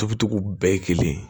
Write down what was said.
Tobi cogo bɛɛ ye kelen ye